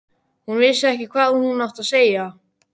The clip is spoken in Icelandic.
Hún vissi ekki hvað hún átti að segja.